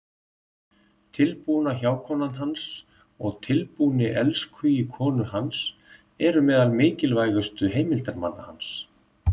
Tilbúna hjákonan hans og tilbúni elskhugi konu hans eru meðal mikilvægustu heimildarmanna hans.